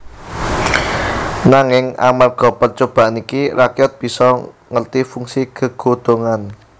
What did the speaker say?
Nanging amarga percobaan iki rakyat bisa ngerti fungsi gegodhongan